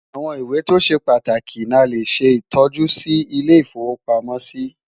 àwọn ìwé tó ṣé pàtàkì nà lè ṣé tọjú Si ilé ifowo pàmò sí